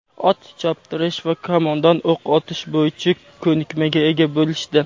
ot choptirish va kamondan o‘q otish bo‘yicha ko‘nikmaga ega bo‘lishdi.